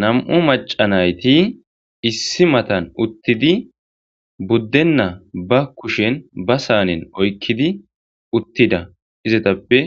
nam'u maca nayti issi matan uttidi buddenna ba kushen ba saanen oykkidi uttida izatappe